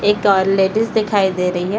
एक और लेडीज दिखाई दे रही है ।